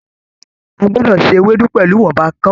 A gbọdọ ṣe Ewédú pẹlú ìwọnba kàn-ún.